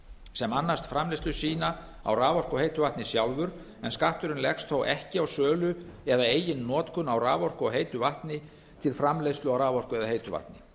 sem annast framleiðslu sína á raforku og heitu vatni sjálfir en skatturinn leggist þó ekki á sölu eða eigin notkun á raforku og heitu vatni til framleiðslu á raforku eða heitu vatni